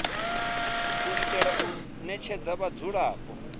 u itela u ṋetshedza vhadzulapo